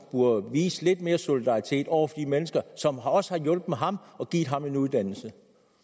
burde vise lidt mere solidaritet over for de mennesker som også har hjulpet ham og givet ham en uddannelse